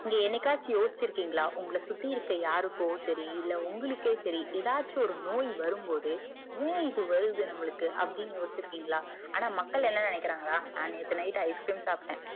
நீங்க என்னைக்காச்சும் யோசிருக்கின்களா உங்களுக்கு சுத்தி இருக்க யாருக்கோ சரி இல்ல உங்களுக்கே சரி எதாச்சும் ஒரு நோய் வரும்போது ஏன் இது வருது நம்மலுக்கு அப்டின்னு யோசிச்சி இருக்கிங்களா ஆனா மக்கள் என்ன நினைக்கிறாங்கன்னா நேத்து night ice cream சாப்ட